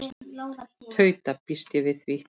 Tauta: Ég býst við því.